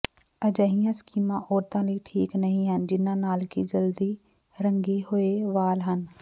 ਅਜਿਹੀਆਂ ਸਕੀਮਾਂ ਔਰਤਾਂ ਲਈ ਠੀਕ ਨਹੀਂ ਹਨ ਜਿਨ੍ਹਾਂ ਨਾਲ ਕਿ ਜਲਦੀ ਰੰਗੇ ਹੋਏ ਵਾਲ ਹਨ